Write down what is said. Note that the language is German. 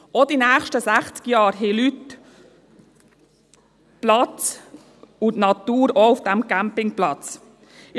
Auch in den nächsten 60 Jahren werden auf diesem Campingplatz Leute und auch die Natur Platz haben.